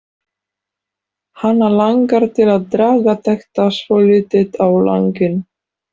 Hana langar til að draga þetta svolítið á langinn.